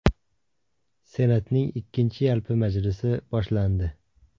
Senatning ikkinchi yalpi majlisi boshlandi.